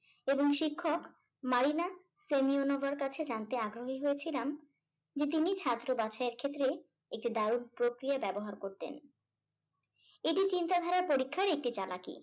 এবং শিক্ষক কাছে জানতে আগ্রহী হয়েছিলাম যে তিনি ছাত্র বাছাইয়ের ক্ষেত্রে একটি দারুণ প্রক্রিয়া ব্যবহার করতেন। এটি চিন্তাধারার পরীক্ষার একটি চালাকি